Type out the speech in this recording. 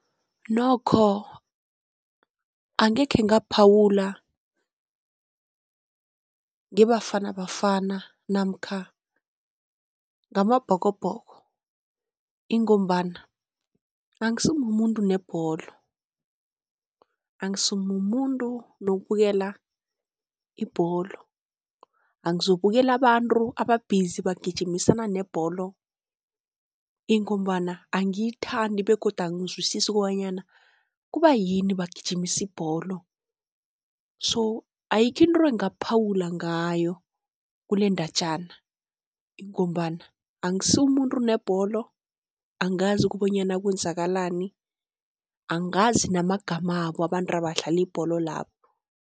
Nokho angekhe ngaphawula ngeBafana Bafana namkha ngamaBhokobhoko, ingombana angisi mumuntu nebholo angisi mumuntu nokubukela ibholo, angizokubukela abantu aba-busy bagijimisana nebholo, ingombana angiyithandi begodu angizwisisi kobanyana kubayini bagijimisa ibholo. So ayikho into engingaphawula ngayo kulendatjana, ingombana angisi mumuntu nebholo angazi kobonyana kwenzakalani, angazi namagamabo abantu abadlala ibholo labo.